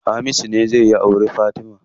Hamisu ne zai auri Fatima.